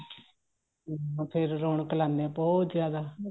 ਬਥੇਰੇ ਰੋਣਕ ਲਾਨੇ ਹਾਂ ਬਹੁਤ ਜਿਆਦਾ